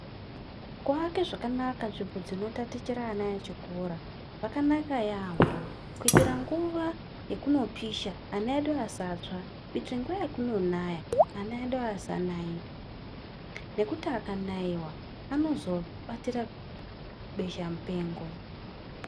Kuvaka zvakaanaka zvinotatichira vana vechikora kwakanaka yambo kuitira nguwa yekupisha vana vedu vasatsva kuitira kuti nguwa yekunaya vana vedu vasanaiwa nekuti akanaiwa anozobatira besha mupengo.